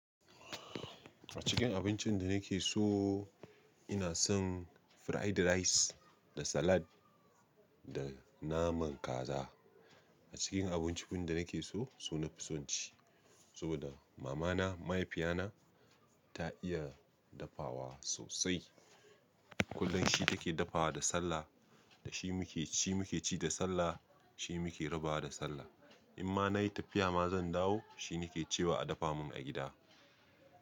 A cikin abincin da nake so, ina son fried rice da salad da naman kaza. A cikin abincikun da nake so, su nafi son ci saboda mamana mahaifiyana ta iya dafawa sosai. Kullum shi take dafawa da sallah da shi muke ci muke ci da sallah, shi muke rabawa da sallah. In ma nayi tafiya ma zan dawo, shi nake cewa a dafa mun a gida.